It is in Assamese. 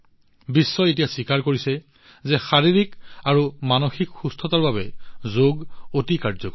বিশ্বই এতিয়া স্বীকাৰ কৰিছে যে শাৰীৰিক আৰু মানসিক সুস্থতাৰ বাবে যোগ অতি কাৰ্যকৰী